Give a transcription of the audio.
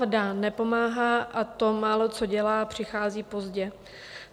Vláda nepomáhá a to málo, co dělá, přichází pozdě.